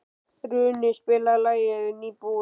Runi, spilaðu lagið „Nýbúinn“.